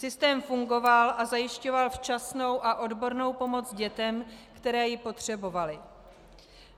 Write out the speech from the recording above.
Systém fungoval a zajišťoval včasnou a odbornou pomoc dětem, které ji potřebovaly.